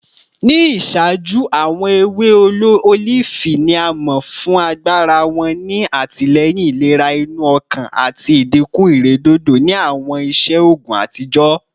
Ni iṣaaju, awọn ewe olifi ni a mọ fun agbara wọn ni atilẹyin ilera inu ọkan ati idinku iredodo ni awọn iṣe oogun atijọ